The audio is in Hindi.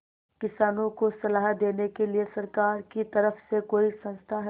किसानों को सलाह देने के लिए सरकार की तरफ से कोई संस्था है